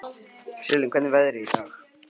Sigurlín, hvernig er veðrið í dag?